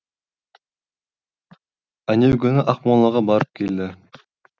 әнеу күні ақмолаға барып келді